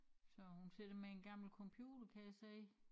Så hun sidder med en gammel computer kan jeg se